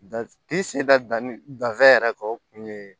danni danfɛn yɛrɛ kɛ o kun ye